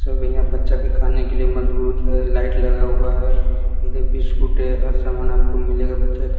सब यहां बच्चा के खाने के लिए मजबूत है लाइट लगा हुआ है इधर बिस्कूट है हर सामान आपको मिलेगा बच्चा का--